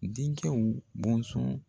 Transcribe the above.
Denkɛw bɔnsɔn